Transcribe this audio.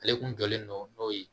Ale kun jɔlen don n'o ye